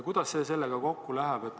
Kuidas see sellega kokku läheb?